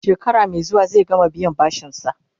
shekara Mai zuwa zai gama biyan bashinsa